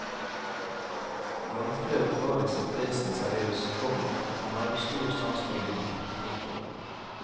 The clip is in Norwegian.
Gangfløt var i sitt vesen seriøs, komma men hadde stor sans for humor. punktum